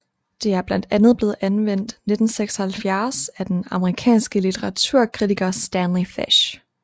Det er blandt andet blevet anvendt 1976 af den amerikanske litteraturkritiker Stanley Fish